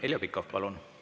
Heljo Pikhof, palun!